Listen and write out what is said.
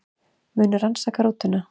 Munu rannsaka rútuna